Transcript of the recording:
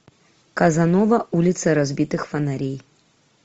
казанова улицы разбитых фонарей